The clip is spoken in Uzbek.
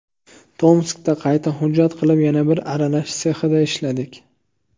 Tomskda qayta hujjat qilib, yana bir arralash sexida ishladik.